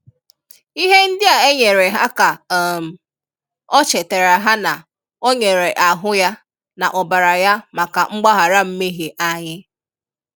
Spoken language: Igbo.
Ihe ndị a e nyere ha ka um ọ chetara ha na Ọ nyere ahụ Ya na ọbara Ya maka mgbaghara nmehie anyị